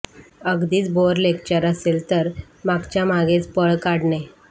अगदीच bore lecture असेल तर मागच्या मागेच पळ काढणे